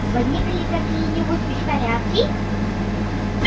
возникли какие-нибудь беспорядки